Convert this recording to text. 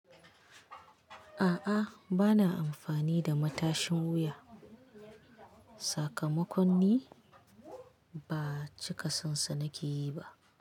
A'a bana amfani da matashin wuya. Sakamakon ni ba cika son sanaki yi ba.